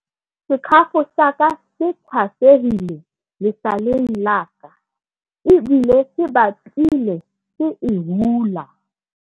sekhafo sa ka se tshwasehile lesaleng la ka ebile se batlile se e hula